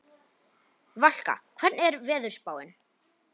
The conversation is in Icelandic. Valka, hvernig er veðurspáin?